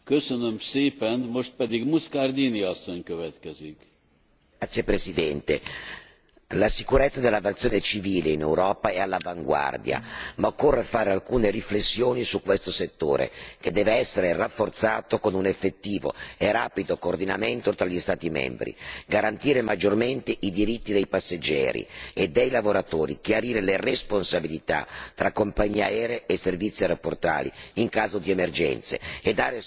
Signor Presidente, onorevoli colleghi, la sicurezza dell'aviazione civile in Europa è all'avanguardia, ma occorre fare alcune riflessioni su questo settore, che deve essere rafforzato con un effettivo e rapido coordinamento tra gli Stati membri, garantire maggiormente i diritti dei passeggeri e dei lavoratori, chiarire le responsabilità tra compagnie aere e servizi aeroportuali in caso di emergenze e dare sostegno in caso di problemi con il volo o con i servizi.